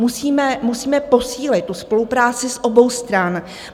Musíme posílit tu spolupráci z obou stran.